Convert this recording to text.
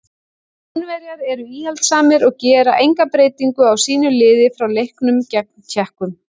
Spánverjar eru íhaldssamir og gera enga breytingu á sínu liði frá leiknum gegn Tékkum.